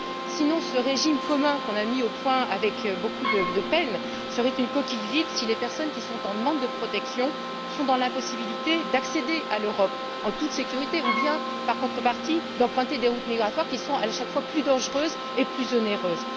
Sinon, ce régime commun que nous avons mis au point avec beaucoup de peine serait une coquille vide si les personnes qui sont en demande de protection sont dans l'impossibilité d'accéder à l'Europe en toute sécurité ou bien, en contrepartie, d'emprunter des routes migratoires, qui sont, elles, à chaque fois plus dangereuses et plus onéreuses.